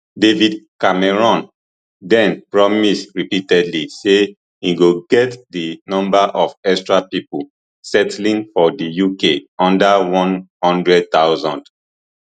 david cameron den promise repeatedly say im go get di number of extra pipo settling for di uk under one hundred thousand